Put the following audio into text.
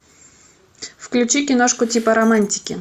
включи киношку типа романтики